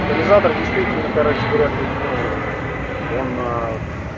катализатор действительно короче говоря то есть ну он